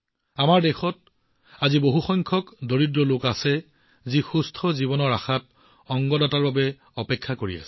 আমাৰ দেশত আজি বহু সংখ্যক দৰিদ্ৰ লোক আছে যিয়ে স্বাস্থ্যৱান জীৱনৰ আশাত অংগ দাতাৰ বাবে অপেক্ষা কৰি আছে